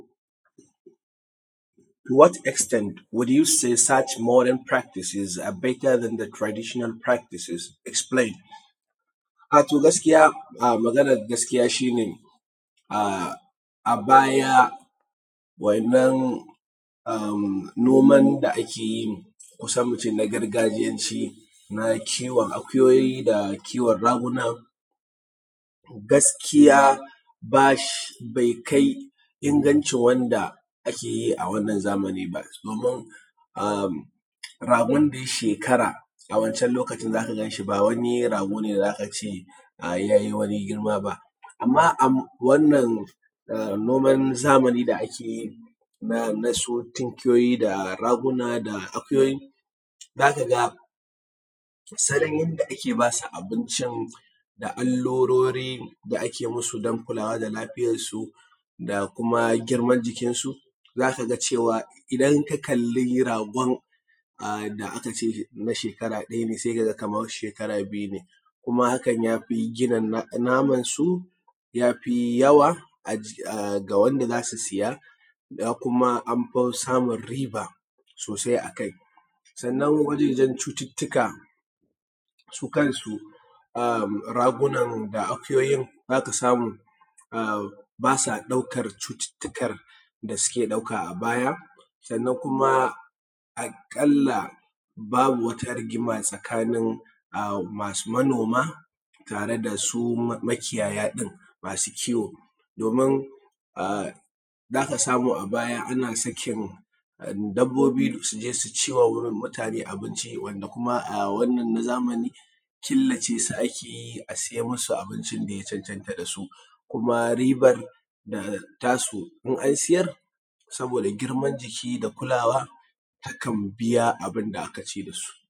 To what extended will you said search modern practices are better than the traditional practices? Explained. To gaskiya maganan gaskiya shi ne a baya wa’innan noman da ake yin kusan mu ce na gargajiyanci na kiwon akuyoyi, da kiwon ragunan, gaskiya ba shi, bai kai inganci wanda ake yi a wannan zamanin ba. Domin a ragon da ya shekara a wance lokacin za ka gan shi ba wani rago ne da za ka ce ya yi wani girma ba, amma a wannan noman zamanin da ake yi na su tikiyoyi da raguna da akuyoyi, za ka ga salon yanda ake ba su abinci, da alurori da ake masu don kulawa da lafiyar su da kuma girman jikinsu, za ka ga cewa idan ka kalli ragon da aka ce na shekara ɗaya ne sai ka ga kamar na shekara biyu ne. Kuma hakan ya fi gina naman su, yafi yawa ga wanda za su siya, kuma an fi samun riba sosai akai, sannan wajejen cututtuka su kansu ragunan da akuyoyin, za ka samu ba sa ɗaukan cututtukan da suke ɗauka a baya, sannan kuma aƙalla babu wata rigima tsakanin manoma tare da su makiyaya ɗin masu kiyo, domin za ka samu a baya ana sakin dabobi su je su ci wa mutane abinci wanda kuma a wannan na zamani killace su ake yi, a siye masu abincim da ya cancanta da su, kuma ribar ta su in an siyar, saboda girman jiki da kulawa takan biya abin da aka ci da su.